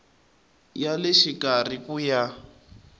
ya le xikarhi ku ya